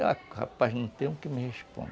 rapaz, não tenho o que me